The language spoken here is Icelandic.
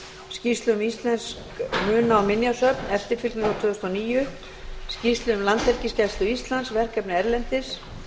skýrslu um íslensk muna og minjasöfn eftirfylgni frá tvö þúsund og níu skýrslu um landhelgisgæslu íslands verkefni erlendis og